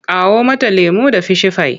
Kawo mata lemo da fishifai!